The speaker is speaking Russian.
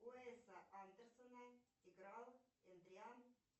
уэса андерсона играл андриан